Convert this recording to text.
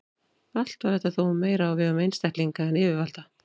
Allt var þetta þó meira á vegum einstaklinga en yfirvalda.